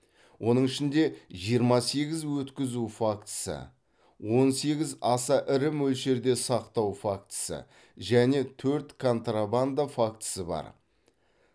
оның ішінде жиырма сегіз өткізу фактісі он сегіз аса ірі мөлшерде сақтау фактісі және төрт контрабанда фактісі бар